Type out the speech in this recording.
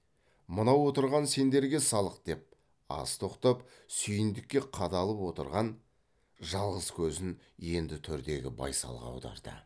мынау отырған сендерге салық деп аз тоқтап сүйіндікке қадалып отырған жалғыз көзін енді төрдегі байсалға аударды